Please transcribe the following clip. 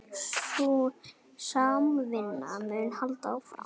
Sú samvinna mun halda áfram